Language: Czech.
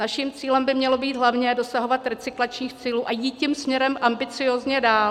Naším cílem by mělo být hlavně dosahovat recyklačních cílů a jít tím směrem ambiciózně dál.